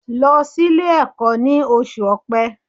Lọ sílé ẹ̀kọ́ ní oṣù Ọ̀pẹ